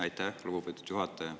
Aitäh, lugupeetud juhataja!